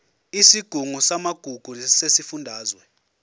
isigungu samagugu sesifundazwe